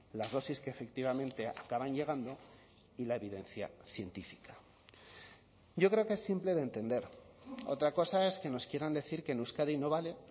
las dosis que efectivamente acaban llegando y la evidencia científica yo creo que es simple de entender otra cosa es que nos quieran decir que en euskadi no vale